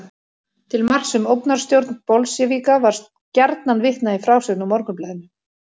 Til marks um ógnarstjórn bolsévíka var gjarnan vitnað í frásögn úr Morgunblaðinu.